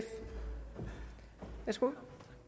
værsgo